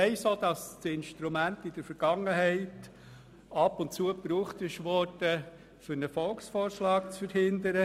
Ich weiss auch, dass das Instrument in der Vergangenheit ab und zu gebraucht wurde, um einen Volksvorschlag zu verhindern.